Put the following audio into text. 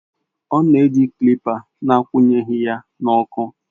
Ọ na-eji kilipa na-akwụnyeghị ya n'ọkụ